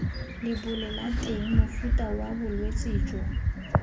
lebolelateng mofuta wa bolwetse jo